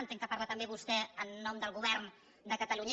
entenc que parla també vostè en nom del govern de catalunya